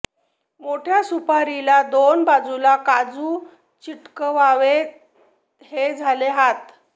मोठ्या सुपारीला दोन बाजुला काजु चिकटवावेत हे झाले हात